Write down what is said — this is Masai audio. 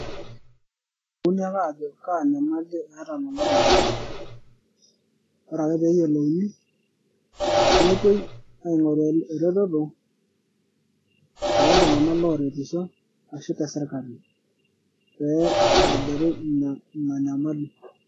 Ke elimuni ake aajo kaa nyamali eeta lelo Tung'anak ore ake pee eyiolouni nepoe aing'oru eretoto, tooltung'anak looretisho ashu tesirkali peitobiri Ina Nyamali.